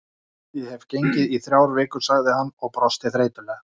Ég hef gengið í þrjár vikur sagði hann og brosti þreytulega.